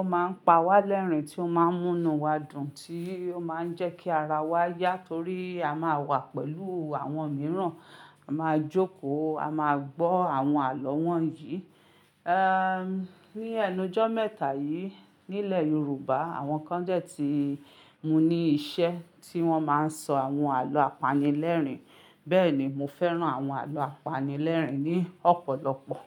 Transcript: ó máa ń pa wá lẹ́rìn, tí ó máa ń múnu wá dùn, tí ó máa ń jẹ́ kí ara wa yá torí a máa wà pẹ̀lú àwọn mìíràn, a máa jókòó, a máa gbọ́ àwọn àlọ́ wọ̀nyí. Ehn, ní ẹnu ọjọ́ mẹ́ta yìí nílẹ̀ Yorùbá, àwọn kan dẹ̀ tii mú ní iṣẹ́ tí wọ́n máa ń sọ àwọn àlọ́ apanilẹ́rìn. Bẹ́ẹ̀ ni, mo fẹ́ràn àwọn àlọ́ apanilẹ́rìn ní ọ̀pọ̀lọpọ̀.